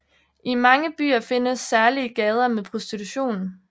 I mange byer findes særlige gader med prostitution